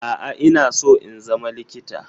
A'a. Ina so in zama likita